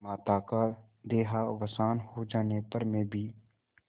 माता का देहावसान हो जाने पर मैं भी